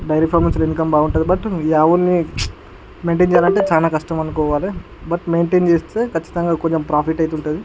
Dairy farm లో చాల income బాగుంటది బట్ ఈ ఆవుల్ని మ్చ్ మైంటైన్ చెయ్యాలంటే చానా కష్టం అనుకోవాలె బట్ మైంటైన్ చేస్తే కచ్చితంగ కొంచెం ప్రాఫిట్ అయితే ఉంటది.